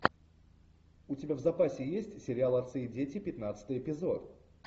у тебя в запасе есть сериал отцы и дети пятнадцатый эпизод